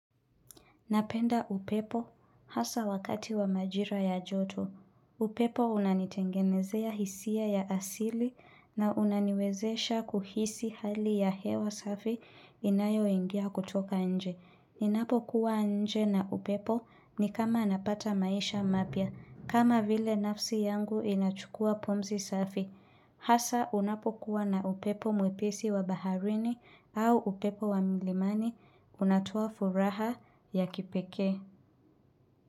Napenda upepo, hasa wakati wa majira ya joto. Hu upepo unanitengenezea hisia ya asili, na unaniwezesha kuhisi hali ya hewa safi inayo ingia kutoka nje. Ninapo kuwa nje na upepo, ni kama napata maisha mapya. Kama vile nafsi yangu inachukua pumzi safi. Hasa, unapokuwa na upepo mwepesi wa baharini au upepo wa milimani unatua furaha ya kipekee.